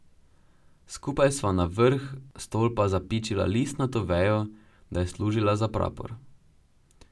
Skupaj sva na vrh stolpa zapičila listnato vejo, da je služila za prapor.